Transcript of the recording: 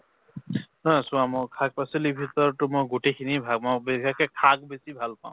অ চোৱা মোৰ শাক পাচলীৰ ভিতৰত তো মই গোটেই খিনিয়ে ভাল মʼ বিশেষকে শাক বেছি ভাল পাওঁ।